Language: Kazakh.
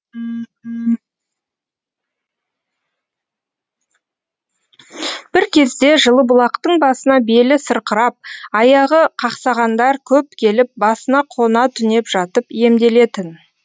бір кезде жылыбұлақтың басына белі сырқырап аяғы қақсағандар көп келіп басына қона түнеп жатып емделетін